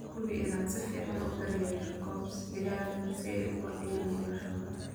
Hubi inaad si fiican u daryeesho coops digaaga si ay u kordhiyaan noloshooda.